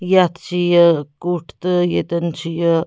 .یتھ چھ یہِ کُٹھ تہٕ ییٚتٮ۪ن چھ یہِ